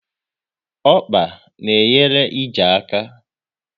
Ọkpa na enyere ije aka